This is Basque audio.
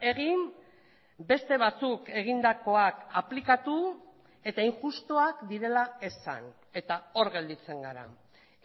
egin beste batzuk egindakoak aplikatu eta injustuak direla esan eta hor gelditzen gara